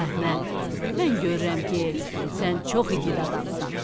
Əhməd, mən görürəm ki, sən çox igid adamsan.